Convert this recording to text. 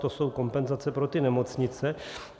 To jsou kompenzace pro ty nemocnice.